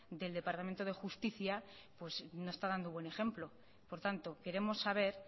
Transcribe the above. del departamento de justicia no está dando buen ejemplo por tanto queremos saber